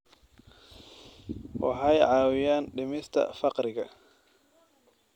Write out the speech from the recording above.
Waxay caawiyaan dhimista faqriga.